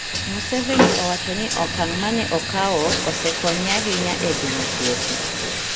Museveni owacho ni okang' mane okawo osekonye ahinya e geng'o tuoche,